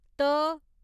त